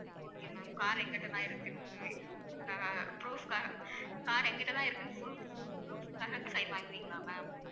okay ma'am car என்கிட்ட தான் இருக்குன்னு அஹ் proof காக car என்கிட்ட தான் இருக்குன்னு proof proof காக sign வாங்குவிங்களா ma'am